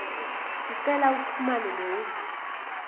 sicela uxhumane nehhovisi